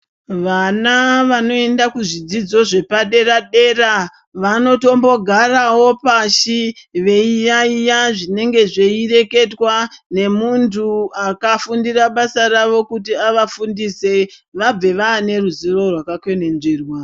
Vana vanoenda kuzvidzidzo zvepadera dera, vanotombo garawo pashi, veiyaiya zvinenge zvei reketwa ngemuntu akafundira basa ravo kuti avafundise, vabve vaane ruzivo rwakakwenenzverwa.